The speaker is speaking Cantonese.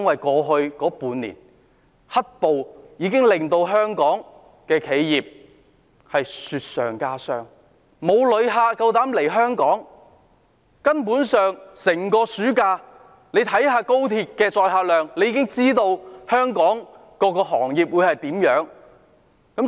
過去半年，"黑暴"令香港企業雪上加霜，沒有旅客敢來港，看看暑假高鐵的載客量，便已知道香港各行各業的情況。